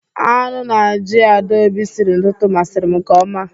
Añụ na ji Adaobi siri n'ụtụtụ masiri m nke ọma